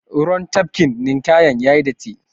Ruwan tafkin ninƙayan yayi datti.